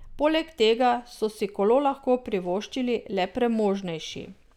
Poleg tega so si kolo lahko privoščili le premožnejši.